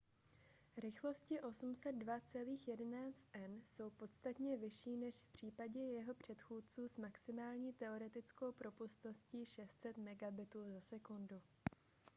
rychlosti 802.11n jsou podstatně vyšší než v případě jeho předchůdců s maximální teoretickou propustností 600 mbit/s